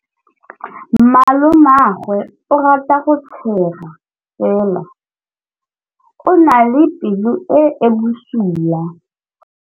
Malomagwe o rata go tshega fela o na le pelo e e bosula.